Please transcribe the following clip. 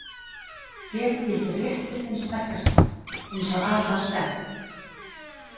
Hér gildi réttur hins sterkasta, eins og að var stefnt.